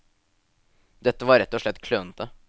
Dette var rett og slett klønete.